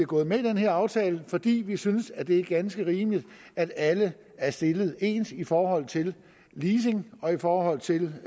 gået med i den her aftale fordi vi synes det er ganske rimeligt at alle er stillet ens i forhold til leasing og i forhold til